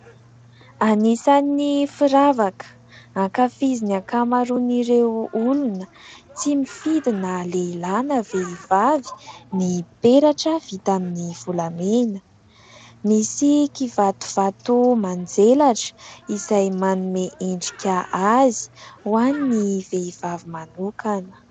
Anisan'ny firavaka ankafizin'ny ankamaron''ireo olona tsy mifidy na lehilahy na vehivavy ny peratra, vita amin'ny volamena misy kivatovato manjelatra izay manome endrika azy ho an'ny vehivavy manokana.